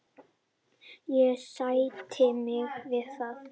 Ég sætti mig við það.